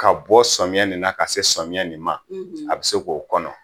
Ka bɔ samiyɛ in na ka se samiyɛ nin ma a bɛ se k'o kɔnɔ